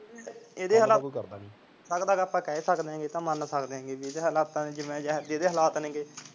ਇਹਦੇ ਹਾਲਾਤ ਲੱਗਦਾ ਤਾਂ ਆਪਾ ਕਹਿ ਸਕਦੇ ਇਹ ਤਾਂ ਮੰਨ ਸਕਦੇ ਜਿਹੋ ਜਿਹੇ ਇਹਦੇ ਹਾਲਾਤ ਨੇ